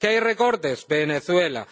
que hay recortes, Venezuela